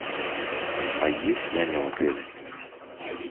а есть няня в отеле